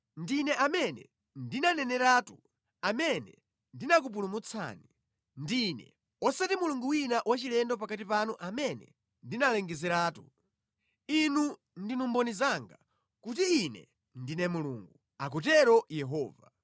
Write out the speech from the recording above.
Ndine amene ndinaneneratu, amene ndinakupulumutsa; ndine, osati mulungu wina wachilendo pakati panu amene ndinalengezeratu. Inu ndinu mboni zanga, kuti Ine ndine Mulungu,” akutero Yehova.